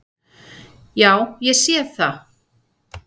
Já, ég sé það!